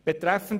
Betreffend